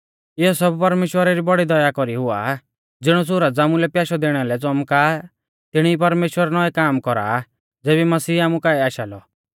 इयौ सब परमेश्‍वरा री बौड़ी दया कौरीऐ हुआ ज़िणौ सुरज आमुलै प्याशै दैणा लै च़ौमका आ तिणी ई परमेश्‍वर नौऐ काम कौरा आ ज़ेबी मसीह आमु काऐ आशा लौ